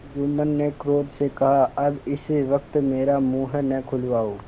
जुम्मन ने क्रोध से कहाअब इस वक्त मेरा मुँह न खुलवाओ